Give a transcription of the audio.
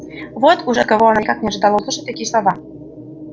вот уж от кого она никак не ожидала услышать такие слова